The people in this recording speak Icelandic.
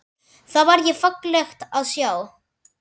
Það var fallegt að sjá.